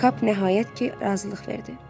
Kap nəhayət ki, razılıq verdi.